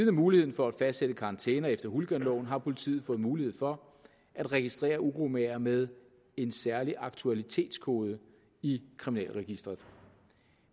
af muligheden for at fastsætte karantæner efter hooliganloven har politiet fået mulighed for at registrere uromagere med en særlig aktualitetskode i kriminalregisteret